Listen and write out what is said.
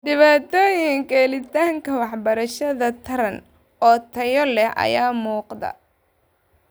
Dhibaatooyinka helitaanka waxbarasho taran oo tayo leh ayaa muuqda.